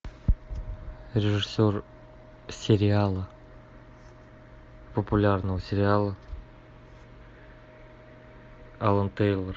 режиссер сериала популярного сериала алан тейлор